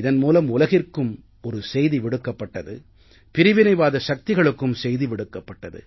இதன் மூலம் உலகிற்கும் செய்தி விடுக்கப்பட்டது பிரிவினைவாத சக்திகளுக்கும் செய்தி விடுக்கப்பட்டது